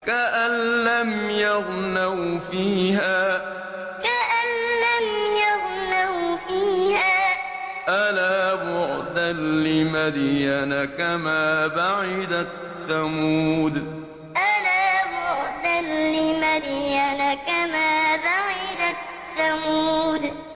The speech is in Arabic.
كَأَن لَّمْ يَغْنَوْا فِيهَا ۗ أَلَا بُعْدًا لِّمَدْيَنَ كَمَا بَعِدَتْ ثَمُودُ كَأَن لَّمْ يَغْنَوْا فِيهَا ۗ أَلَا بُعْدًا لِّمَدْيَنَ كَمَا بَعِدَتْ ثَمُودُ